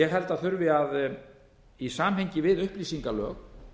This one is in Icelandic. ég held að þurfi að í samhengi við upplýsingalög